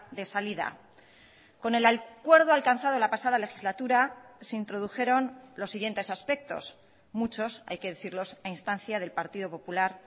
de salida con el acuerdo alcanzado la pasada legislatura se introdujeron los siguientes aspectos muchos hay que decirlos a instancia del partido popular